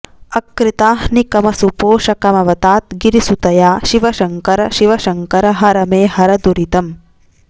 अकृताह्निकमसुपोषकमवतात् गिरिसुतया शिवशङ्कर शिवशङ्कर हर मे हर दुरितम्